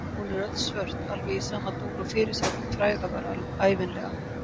Hún er öll svört, alveg í sama dúr og fyrirsætan fræga var ævinlega.